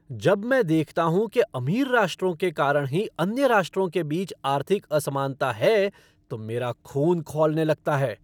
जब मैं देखता हूँ कि अमीर राष्ट्रों के कारण ही अन्य राष्ट्रों के बीच आर्थिक असमानता है तो मेरा खून खौलने लगता है।